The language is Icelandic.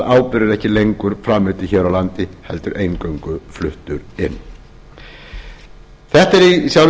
áburður ekki lengur framleiddur hér á landi heldur eingöngu fluttur inn þetta er í sjálfu